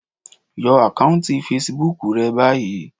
Yọ àkáùntì fesibúùkù rẹ báyìí.